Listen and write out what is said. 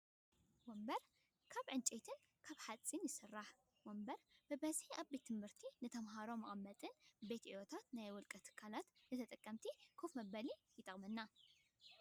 ወንበር ካብ እንጨይትን ሓፂንን ይስራሕ። ወንበር ብበዝሒ ኣብ ቤት ትምህርቲ ንተምሃሮ መቀመጥን ቤት ዕዮታትን ናይ ውልቀ ትካላት ንተጠቀምቲ ከፍ መበሊ ይጠቅመና።